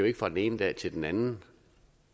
ikke fra den ene dag til den anden